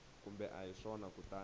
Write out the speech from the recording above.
kumbe a hi swona kutani